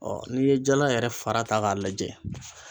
n'i ye jala yɛrɛ fara ta k'a lajɛ